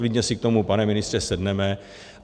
Klidně si k tomu, pane ministře, sedneme.